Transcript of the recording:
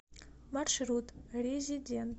маршрут резидент